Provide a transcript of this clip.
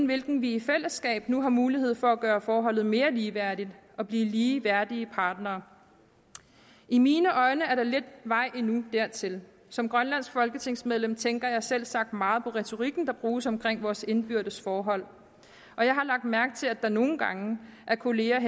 hvilken vi i fællesskab nu har mulighed for at gøre forholdet mere ligeværdigt og blive lige værdige partnere i mine øjne er der lidt vej endnu dertil som grønlandsk folketingsmedlem tænker jeg selvsagt meget på retorikken der bruges om vores indbyrdes forhold og jeg har lagt mærke til at der nogle gange af kolleger